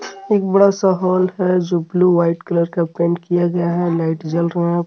एक बड़ा सा होल है जो ब्लू व्हाइट कलर का पेंट किया गया है लाइट जल रहा है.